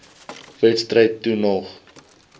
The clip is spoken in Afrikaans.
wedstryd toe nog